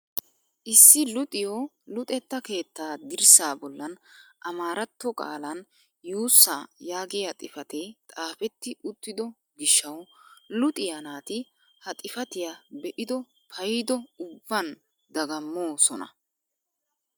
Issi luxiyoo luxetta keettaa dirssaa bollan amaaratto qaalan yuussaa yaagiyaa xifatee xaapetti uttido gishshawu luxiyaa naati ha xifatiyaa be'ido paydo ubban dagammoosona!